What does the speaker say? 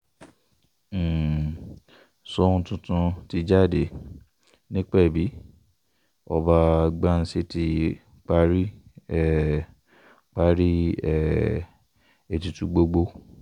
um ṣòun tuntun ti jáde nípẹ́bí ọba ghansi ti parí um parí um ètùtù gbogbo